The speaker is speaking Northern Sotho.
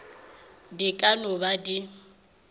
di ka no ba di